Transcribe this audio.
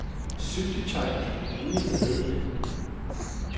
Syltetøj er det ene fornødne.